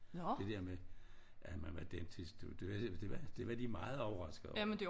Det der med at man var dentist det det var det var de meget overraskede over